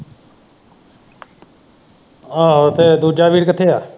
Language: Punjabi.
ਆਹੋ, ਤੇ ਦੂਜਾ ਵੀਰ ਕਿੱਥੇ ਆ?